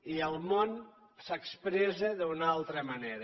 i el món s’expressa d’una altra manera